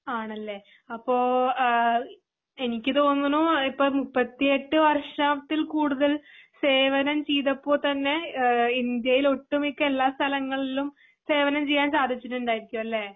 ആണല്ലേ? അപ്പൊ ആ എനിക്ക് തോന്നണു ഇപ്പോ മുപ്പത്തി എട്ടര വർഷത്തിൽ കൂടുതൽ സേവനം ചെയ്തപ്പോൾ തന്നെ ഇന്ത്യയിലെ ഒട്ടുമിക്ക എല്ലാ സ്ഥലങ്ങളിലും സേവനം ചെയ്യാൻ സാധിച്ചിട്ടുണ്ടായിരിക്കും അല്ലെ?